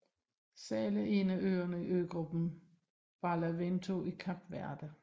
Sal er en af øerne i øgruppen Barlavento i Kap Verde